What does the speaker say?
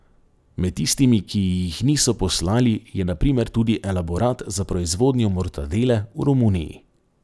Med tistimi, ki ji jih niso poslali, je na primer tudi elaborat za proizvodnjo mortadele v Romuniji.